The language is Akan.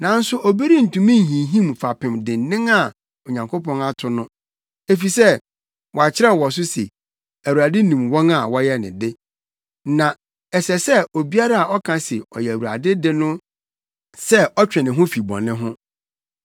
Nanso obi rentumi nhinhim fapem dennen a Onyankopɔn ato no, efisɛ wɔakyerɛw wɔ so se, “Awurade nim wɔn a wɔyɛ ne de,” na “Ɛsɛ obiara a ɔka se ɔyɛ Awurade de no sɛ ɔtwe ne ho fi bɔne ho.”